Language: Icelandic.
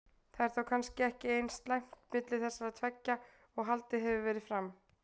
Það er þá kannski ekki eins slæmt milli þessara tveggja og haldið hefur verið fram?